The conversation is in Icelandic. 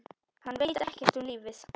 Hann veit ekkert um lífið.